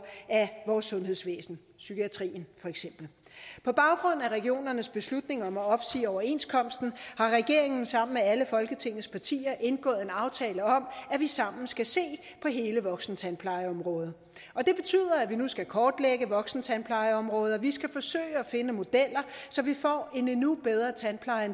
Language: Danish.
af vores sundhedsvæsen psykiatrien for eksempel på baggrund af regionernes beslutning om at opsige overenskomsten har regeringen sammen med alle folketingets partier indgået en aftale om at vi sammen skal se på hele voksentandplejeområdet og det betyder at vi nu skal kortlægge voksentandplejeområdet og vi skal forsøge at finde modeller så vi får en endnu bedre tandpleje